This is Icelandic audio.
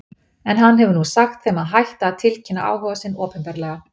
En hann hefur nú sagt þeim að hætta að tilkynna áhuga sinn opinberlega.